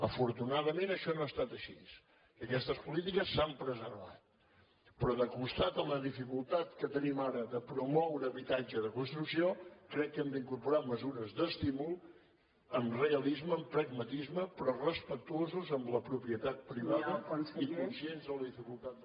afortunadament això no ha estat així i aquestes polítiques s’han preservat però al costat de la dificultat que tenim ara de promoure habitatge de construcció crec que hem d’incorporar mesures d’estímul amb realisme amb pragmatisme però respectuosos amb la propietat privada i conscients de la dificultat